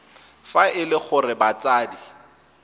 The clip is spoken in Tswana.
fa e le gore batsadi